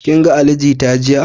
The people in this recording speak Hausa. Kin ga Ali Jita jiya?